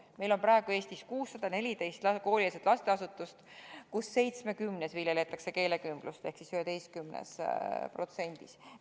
Meil on praegu Eestis 614 koolieelset lasteasutust, millest 11%-s ehk 70 viljeletakse keelekümblust.